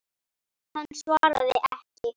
Hann svaraði ekki.